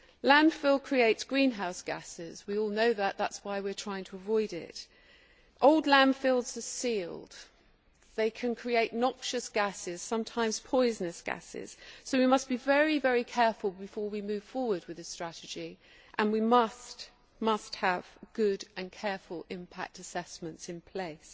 Landfill creates greenhouse gases, we all know that that is why we are trying to avoid it. Old landfills are sealed, they can create noxious gases, sometimes poisonous gases, so we must be very careful before we move forward with this strategy, and we must have good and careful impact assessments in place.